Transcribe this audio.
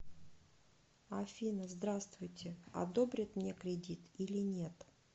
афина здравствуйте одобрят мне кредит или нет